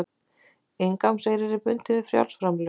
Inngangseyrir er bundinn við frjáls framlög